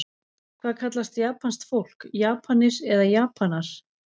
Hvað kallast japanskt fólk, Japanir eða Japanar?